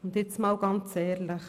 Und jetzt einmal ganz ehrlich: